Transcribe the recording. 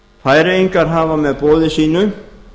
færeyingar hafa með boði sínu